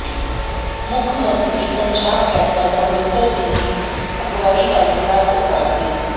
ਮੁੱਖ ਮੰਤਰੀ ਪੰਜਾਬ ਕੈਪਟਨ ਅਮਰਿੰਦਰ ਸਿੰਘ ਦੀ ਅਗਵਾਈ ਵਾਲੀ ਰਾਜ ਸਰਕਾਰ ਦੇ